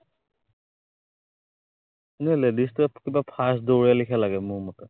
এনেই ladies টোৱে কিবা fast দৌৰে লেখিয়া লাগে মোৰ মতে।